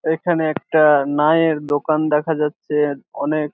এখানে একটাআআ নায়ের দোকান দোকান দেখা যাচ্ছে অনেক --